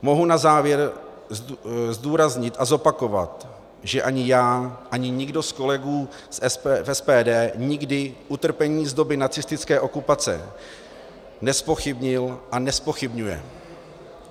Mohu na závěr zdůraznit a zopakovat, že ani já, ani nikdo z kolegů v SPD nikdy utrpení z doby nacistické okupace nezpochybnil a nezpochybňuje.